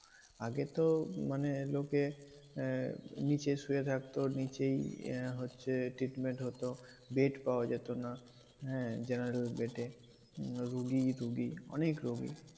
আগেতো মানে লোকে আহ নিচে শুয়ে থাকতো। নিচেই আহ হচ্ছে treatment হতো। bed পাওয়া যেত না। হ্যাঁ? general bed এ রুগী রুগী অনেক রুগী।